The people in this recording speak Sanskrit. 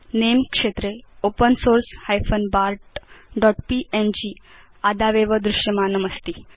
नमे क्षेत्रे ओपेन सोर्स bartpng आदावेव दृश्यमानमस्ति